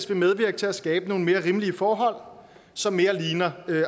de medvirke til at skabe nogle mere rimelige forhold som mere ligner